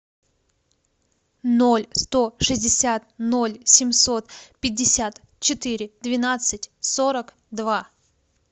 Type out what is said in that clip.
ноль сто шестьдесят ноль семьсот пятьдесят четыре двенадцать сорок два